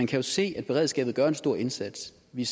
kan se at beredskabet gør en stor indsats vi